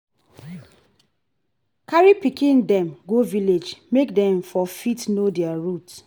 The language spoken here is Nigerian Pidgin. carry pikin dem go village make dem for fit know their root